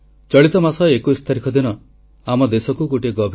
• ଯୁବ ଭୋଟରଙ୍କ ପଞ୍ଜୀକରଣ ମତଦାନ ସଚେତନତା ଅଭିଯାନ ଆରମ୍ଭ କରିବାକୁ ଆହ୍ୱାନ